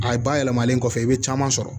A ba yɛlɛmalen kɔfɛ i bɛ caman sɔrɔ